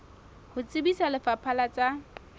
ho tsebisa lefapha la tsa